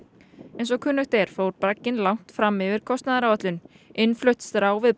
eins og kunnugt er fór bragginn langt fram yfir kostnaðaráætlun innflutt strá við